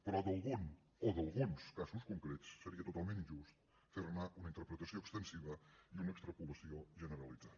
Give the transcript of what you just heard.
però d’algun o d’alguns casos concrets seria totalment injust fer ne una interpretació extensiva i una extrapolació generalitzada